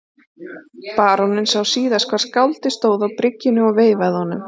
Baróninn sá síðast hvar skáldið stóð á bryggjunni og veifaði honum.